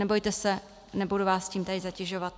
Nebojte se, nebudu vás tím teď zatěžovat.